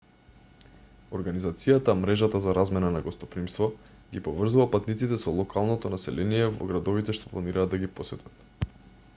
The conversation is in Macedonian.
организацијата мрежата за размена на гостопримство ги поврзува патниците со локалното население во градовите што планираат да ги посетат